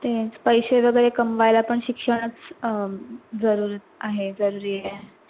तेच पैशे तरी कमवायला पण शिक्षणच अं जरुरी आहे जरुरीआहे.